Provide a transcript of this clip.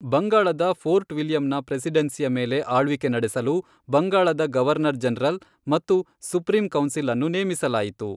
ಬಂಗಾಳದ ಫೋರ್ಟ್ ವಿಲಿಯಂನ ಪ್ರೆಸಿಡೆನ್ಸಿಯ ಮೇಲೆ ಆಳ್ವಿಕೆ ನಡೆಸಲು ಬಂಗಾಳದ ಗವರ್ನರ್ ಜನರಲ್ ಮತ್ತು ಸುಪ್ರೀಂ ಕೌನ್ಸಿಲ್ ಅನ್ನು ನೇಮಿಸಲಾಯಿತು.